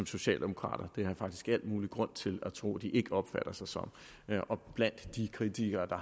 socialdemokrater det har jeg faktisk al mulig grund til at tro de ikke opfatter sig som og blandt kritikerne